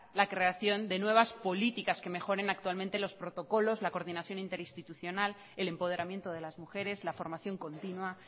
la creación de nuevas políticas que mejoren actualmente los protocolos la coordinación interinstitucional el empoderamiento de las mujeres la formación continua